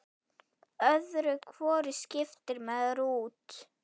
Öðru hvoru skiptir maður út.